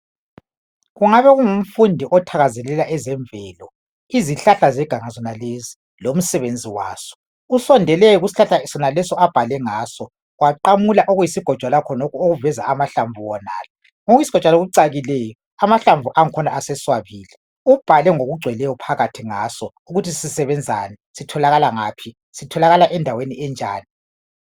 Kungabe kungumfundi othakazelela ezemvelo lomsebenzi waso usondele kusihlahla soneso abhale ngaso waqamula okuyigojwana khona lokhu okuveza amahlamvu wonala okuyisgojwana okucakileyo amahlamvu akhona seswabile ubhale ngokungcweleyo ukubana sisebenzani sithola Kala endaweni enjani